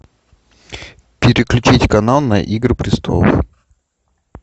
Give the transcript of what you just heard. переключить канал на игры престолов